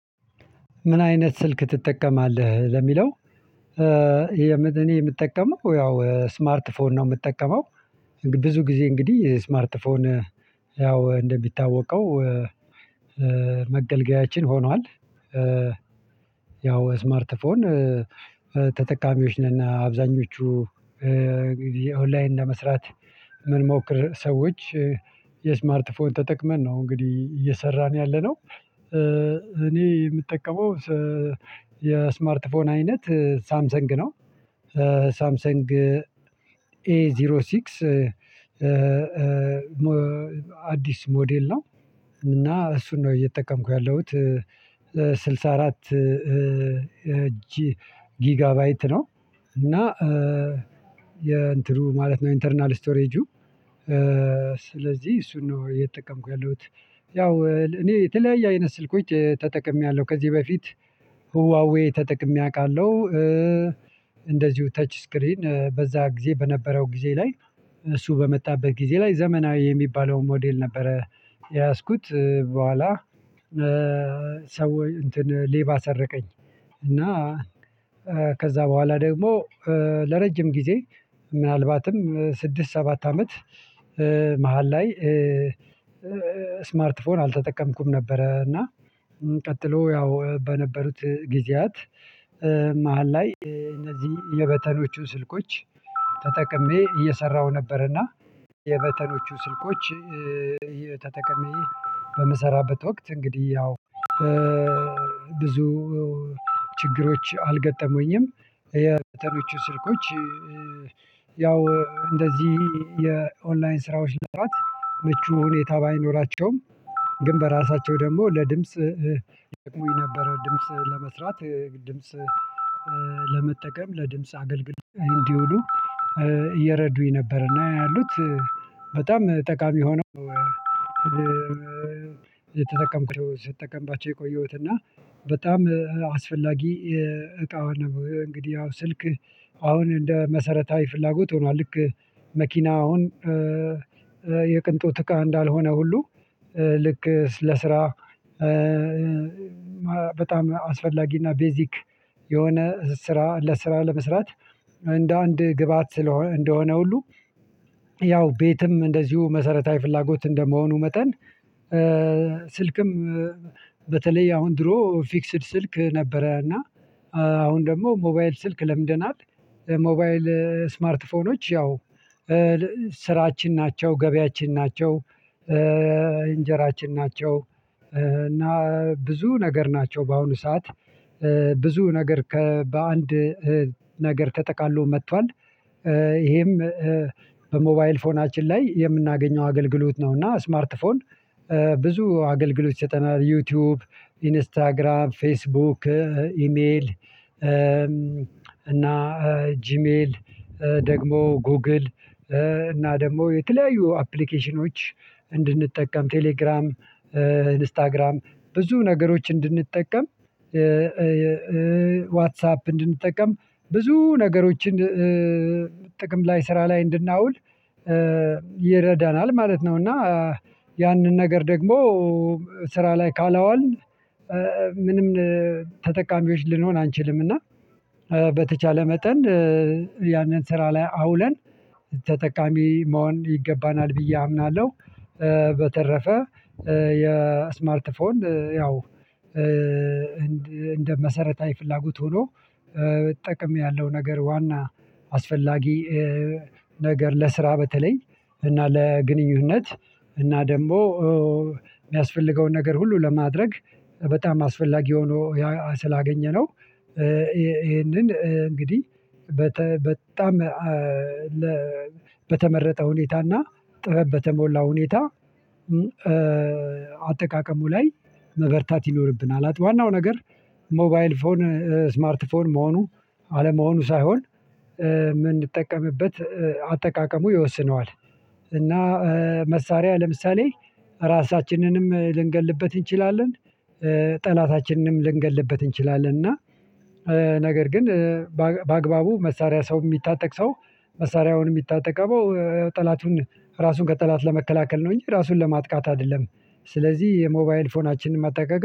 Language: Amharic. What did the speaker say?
ምን አይነት ስልክ ትጠቀማለህ ለሚለው? እኔ የምጠቀመው ያው ስማርት ፎን ነው የምጠቀመው። ብዙ ጊዜ እንግዲህ ስማርት ፎን ያው እንደሚታወቀው። መገልገያችን ሆኗል ያው ስማርት ፎን ተጠቃሚዎች ነና አብዛኞቹ። ኦንላይን ለመስራት ምን ሞክር ሰዎች የስማርት ፎን ተጠቅመን ነው እንግዲህ እየሰራን ያለነው። እኔ የምጠቀመው የስማርት ፎን አይነት ሳምሰንግ ነው። ሳምሰንግ ኤ ዜሮ ሲክስ አዲስ ሞዴል ነው። እና እሱን ነው እየተጠቀምኩ ያለሁት። ስልሳ አራት ጅ ጊጋባይት ነው እና የእንትኑ ማለት ነው ኢንተርናል ስቶሬጁ። ስለዚህ እሱን ነው እየተጠቀምኩ ያለዉት። ያው እኔ የተለያየ አይነት ስልኮች ተጠቅሜያለሁ ከዚህ በፊት ሁዋዌ ተጠቅሜ አውቃለሁ። እንደዚሁ ተች ስክሪን በዛ ጊዜ በነበረው ጊዜ ላይ እሱ በመጣበት ጊዜ ላይ ዘመናዊ የሚባለውን ሞዴል ነበረ። የያዝኩት በኋላ ሰው እንትን ሌባ ሰረቀኝ። እና ከዛ በኋላ ደግሞ ለረጅም ጊዜ ምናልባትም ስድስት ሰባት አመት። መሃል ላይ ስማርት ፎን አልተጠቀምኩም ነበረ። እና ቀጥሎ ያው በነበሩት ጊዜያት መሃል ላይ እነዚህ የበተኖቹን ስልኮች ተጠቅሜ እየሰራሁ ነበር። እና የበተኖቹ ስልኮች ተጠቅሜ በምሰራበት ወቅት እንግዲህ ያው ብዙ ችግሮች አልገጠሙኝም። የበተኖቹም ስልኮች ያው እንደዚህ የኦንላይን ስራዎች ለመስራት ሁኔታ ባይኖራቸውም ግን በራሳቸው ደግሞ ለድምጽ ይጠቁኝ ነበረ። ድምጽ ለመስራት ድምጽ ለመጠቀም ለድምጽ አገልግል እንዲውሉ እየረዱኝ ነበር። እና ያሉት በጣም ጠቃሚ ሆኖ የተጠቀምኩት ስትጠቀምባቸው የቆየሁት እና በጣም አስፈላጊ እቃዋን ነው። እንግዲህ ያው ስልክ አሁን እንደ መሰረታዊ ፍላጎት ሆኗል። ልክ መኪናውን የቅንጦት እቃ እንዳልሆነ ሁሉ ልክ ለስራ በጣም አስፈላጊና ቤዚክ የሆነ ስራ ለስራ ለመስራት እንደ አንድ ግብአት ስለሆነ እንደሆነ ሁሉ። ያው ቤትም እንደዚሁ መሰረታዊ ፍላጎት እንደመሆኑ መጠን። ስልክም በተለይ አሁን ድሮ ፊክስድ ስልክ ነበረ። እና አሁን ደግሞ ሞባይል ስልክ ለምደናል ሞባይል ስማርት ፎኖች ያው ስራችን ናቸው ገበያችን ናቸው እንጀራችን ናቸው እና ብዙ ነገር ናቸው በአሁኑ ሰዓት ብዙ ነገር ከበአንድ ነገር ተጠቃሎ መጥቷል። ይሄም በሞባይል ፎናችን ላይ የምናገኘው አገልግሎት ነው። እና ስማርት ፎን ብዙ አገልግሎት ይሰጠናል ዩቲዩብ ኢንስታግራም ፌስቡክ ኢሜል እና ጂሜል ደግሞ ጎግል እና ደግሞ የተለያዩ አፕሊኬሽኖች እንድንጠቀም ቴሌግራም ኢንስታግራም ብዙ ነገሮች እንድንጠቀም ዋትሳፕ እንድንጠቀም ብዙ ነገሮችን ጥቅም ላይ ስራ ላይ እንድናውል ይረዳናል ማለት ነው። እና ያንን ነገር ደግሞ ስራ ላይ ካለዋልን ምንም ተጠቃሚዎች ልንሆን አንችልም እና በተቻለ መጠን ያንን ስራ ላይ አውለን ተጠቃሚ መሆን ይገባናል ብዬ አምናለሁ። በተረፈ የስማርት ፎን ያው እንደ መሰረታዊ ፍላጎት ሆኖ። ጥቅም ያለሁ ነገር ዋና አስፈላጊ ነገር ለስራ በተለይ እና ለግንኙነት እና ደግሞ የሚያስፈልገውን ነገር ሁሉ ለማድረግ በጣም አስፈላጊ ሆኖ ስላገኘነው ይሄንን እንግዲህ በጣም በተመረጠ ሁኔታና ጥበብ በተሞላ ሁኔታ አጠቃቀሙ ላይ መበርታት ይኖርብናል። ዋናው ነገር ሞባይል ፎን ስማርት ፎን መሆኑ አለመሆኑ ሳይሆን የምንጠቀምበት አጠቃቀሙ ይወስነዋል። እና መሳሪያ ለምሳሌ ራሳችንንም ልንገልበት እንችላለን። ጠላታችንንም ልንገልበት እንችላለን። እና ነገር ግን በአግባቡ መሳሪያ ሰው የሚታጠቅ ሰው መሳሪያውን የሚታጠቀው ጠላቱን ራሱን ከጠላት ለመከላከል ነው እንጂ ራሱን ለማጥቃት አይደለም። ስለዚህ የሞባይል ፎናችንን መጠቀቅ